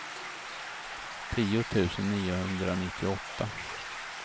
tio tusen niohundranittioåtta